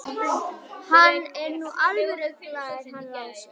Hann er nú alveg ruglaður hann Lási.